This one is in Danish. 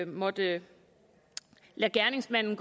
måtte lade gerningsmanden